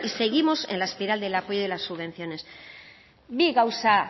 seguimos en la espiral del apoyo y de las subvenciones bi gauza